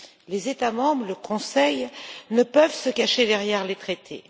Les États membres et le Conseil ne peuvent se cacher derrière les traités.